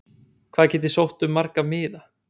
Hvað get ég sótt um marga miða?